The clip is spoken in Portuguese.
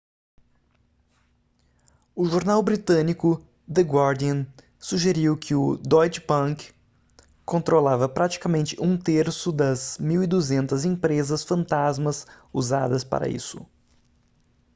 o jornal britânico the guardian sugeriu que o deutsche bank controlava praticamente um terço das 1200 empresas fantasmas usadas para isso